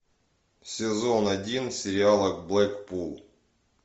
сезон один сериала блэкпул